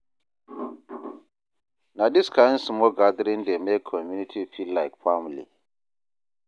Na dis kain small gathering dey make community feel like family.